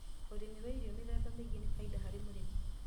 Ũrĩmi wa irio mĩthemba mĩingĩ nĩ faida harĩ mũrĩmi